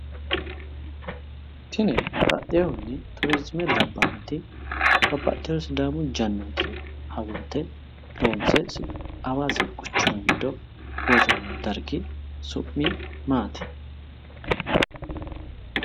tini baxxinohunni turizime labbanoti babbaxino sidaamu jannooti hawulte loonse hawaasi quchumi giddo worroonni dargi su'mi maati?